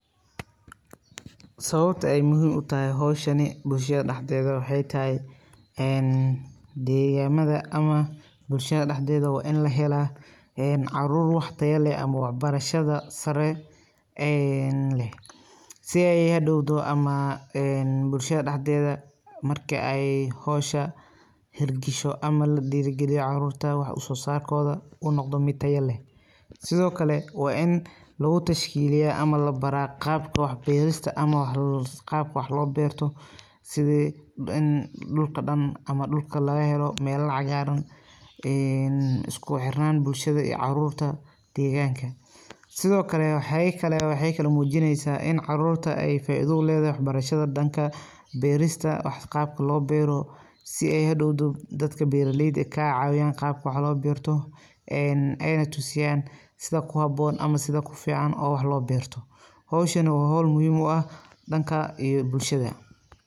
Sababta ay muhiim utahay hiwshani bulshada dhaxdeeda waxee tahay een deegamada ama bulshada dhaxdeeda waa in la helaa caruur wax taya leh ama waxbarashada sare een leh si ay hadhowdo ama bulshada dhaxdeeda marka ay howsha hirgasho ama ladhiirugaliyo caruurta waxa soo saarkooda uu naqdo mid tayo leh sido kale waa in lagu tashkiiliya ama labaraa qaabka wax beerista ama qaabka wax loo beerto sida in dhulka dhan ama dhulka lagahelo meelo cagaaran een isku xirnaan bulshada caruurta iyo deegaanka sido kale waxe kalo muujineysa in ay caruurta faaido uleedahay waxbarashada dhanka beerista wax qaabka loo beero si ay hadhowdo dadka beeraleyda eh kaga caawiyan qaabka wax loo beerto een eena tusiyaan sida ku haboon ama sida kufiican ee wax loo beerto howshani waa hool muhiim u ah dhanka iyo bulshada.